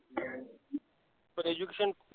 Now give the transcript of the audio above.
पण education